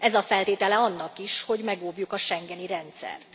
Ez a feltétele annak is, hogy megóvjuk a schengeni rendszert.